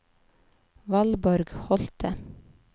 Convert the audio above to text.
Valborg Holte